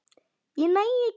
Ég næ ekki.